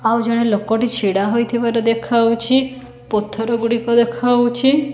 ଆଉ ଜଣେ ଲୋକଟି ଛିଡ଼ା ହୋଇଥିବାର ଦେଖାହୋଉଛି ପଥରଗୁଡ଼ିକ ଦେଖାହୋଉଛି।